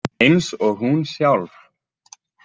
Eins og hún sjálf.